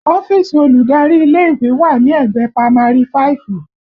Ọ́fíìsì olùdarí ilé ìwé wà ní ẹ̀gbẹ́ pamari fáìfù